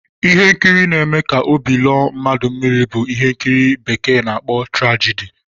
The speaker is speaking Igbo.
Ihe nkiri n'eme ka óbị lọọ mmadụ mmiri bu ihe ndi bekee n'akpọ trajidi